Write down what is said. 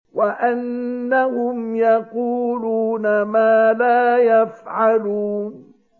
وَأَنَّهُمْ يَقُولُونَ مَا لَا يَفْعَلُونَ